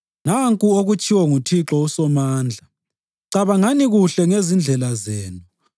Nanku okutshiwo nguThixo uSomandla: “Cabangani kuhle ngezindlela zenu.